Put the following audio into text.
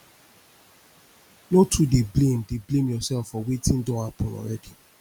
no too dey blame dey blame urself for wetin don hapun already